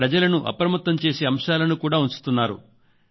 ప్రజలను అప్రమత్తం చేసే అంశాలను కూడా ఉంచుతున్నారు